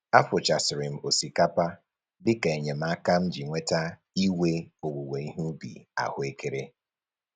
Afụchasịrị m osikapa dịka enyemaka m ji nweta iwe owuwe ihe ubi ahụekere